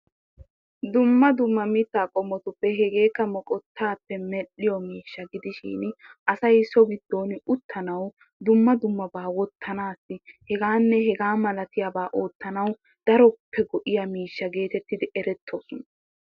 Dumma dumma mitaa qommotuppe hegeekka moqotaappe medhiyo miishsha gidishin asay so giddon uttanawu dumma dumabaa wotanaassi hegaaanne hegaa malattiyaaba ootanawu daroppe goiya miishsha geetettidi eretoosona.